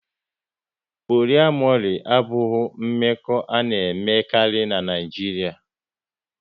Poliamori abụghị mmekọ a na-emekarị n'Naijiria